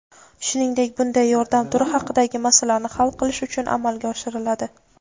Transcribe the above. shuningdek bunday yordam turi haqidagi masalani hal qilish uchun amalga oshiriladi.